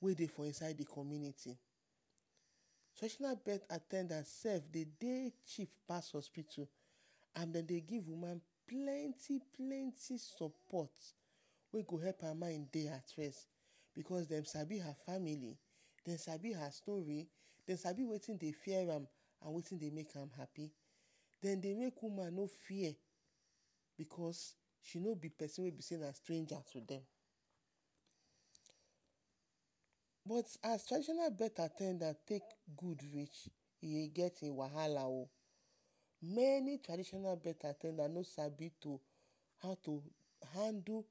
wey dey for inside the community. Traditional birth at ten dance sef de dey cheap pas the hospitu and de dey give woman plenty-plenty sopot wey go help her mind dey at rest because dem sabi her family, dem sabi her story, dem sabi wetin dey fear am and wetin dey make am hapi. Den dey make woman no fear because de no be pesin wey na stranger to dem. But as traditional birth at ten dance take gud rich, e get e wahala o, meni traditional birth at ten dace no sabi how to-how to handle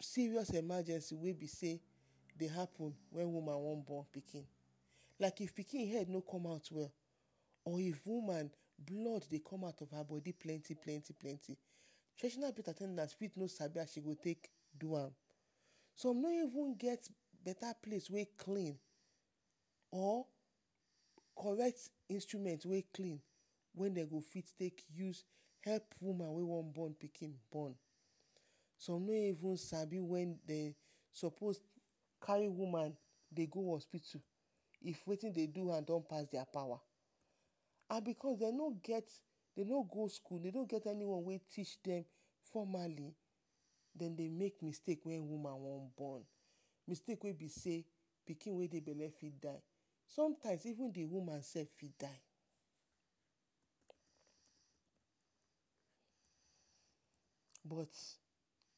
serious emergency wey be sey de happen wen woman wan bon pikin. Like if pikin head no come out well and if woman blood dey come out from her bodi plenti-plenti-plenti, traditional birth at ten dance fit no sabi how she go take do am. Som no even get beta place wey clean. Or correct instrument wey clean wey den go fit take use help woman wey wan bon pikin, som no even sabi wen dey sopos kari woman go hospitu if wetin dey do am don pass dia pawa. And because de no get, de no go skul, de no get anyone wey teach dem formally, dem dey make mistake wen woman wan born, mistake wey be sey pikin wey dey bele fit die. Sometimes even the woman sef fit die………………….?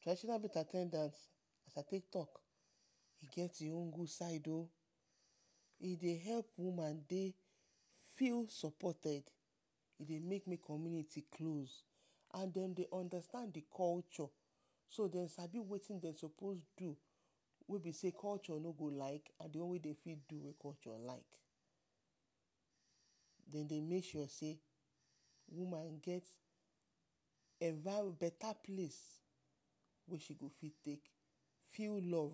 Traditional birth at ten dance e get im own gud side o, e dey help woman dey feel sopoted, e dey make the community close and dem dey understand the culture. So dem sabi wetin dem sopos do, wey be sey culture no go like……………….? Den dey make sure sey,…………………? Feel love………………………?